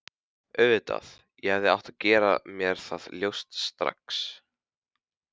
Auðvitað, ég hefði átt að gera mér það ljóst strax.